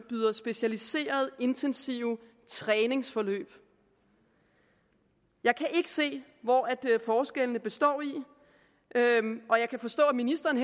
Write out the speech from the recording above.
specialiserede intensive træningsforløb jeg kan ikke se hvori forskellene består og jeg kan forstå at ministeren